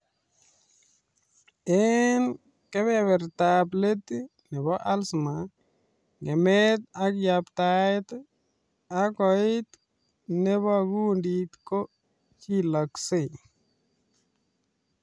Eng keberbertab late neboo alzhemier ngemet ak yaptaet and koit nebaa kundit ko chilaksel